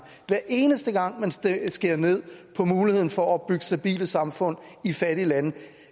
hver eneste gang man skærer ned på muligheden for at opbygge stabile samfund i fattige lande